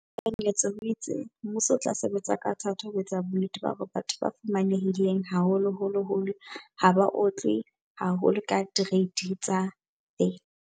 Tekanyetso o itse, mmuso o tla sebetsa ka thata ho etsa bonnete ba hore batho ba fumanehileng haholoholo ha ba otlwe haholo ke direiti tsa VAT.